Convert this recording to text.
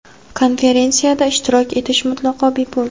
Konferensiyada ishtirok etish mutlaqo bepul.